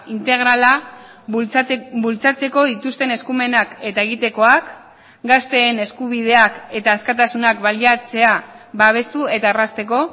integrala bultzatzeko dituzten eskumenak eta egitekoak gazteen eskubideak eta askatasunak baliatzea babestu eta errazteko